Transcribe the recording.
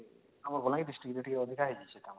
ଆମର ବଲାଙ୍ଗୀର district ରେ ଟିକେ ଅଧିକା